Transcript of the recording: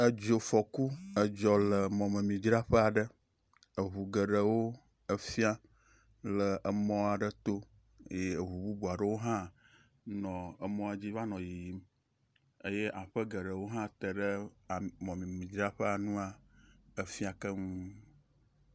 Edzo fɔ ku edzo le emɔmemi dzraƒe aɖe, eŋu geɖewo efia le emɔa aɖe to eye ŋu bubu aɖewo hã le nɔ emɔ dzi vanɔ yiyim eye aƒe geɖewo hã teɖe emɔmemi dzraƒea ŋua efia keŋ